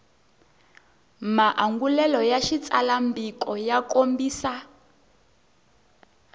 maangulelo ya xitsalwambiko ya kombisa